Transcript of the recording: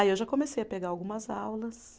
Aí eu já comecei a pegar algumas aulas.